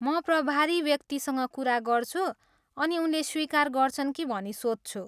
म प्रभारी व्यक्तिसँग कुरा गर्छु अनि उनले स्वीकार गर्छन् कि भनी सोध्छु।